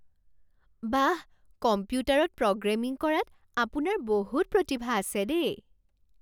বাহ! কম্পিউটাৰত প্ৰগ্ৰেমিং কৰাত আপোনাৰ বহুত প্ৰতিভা আছে দেই।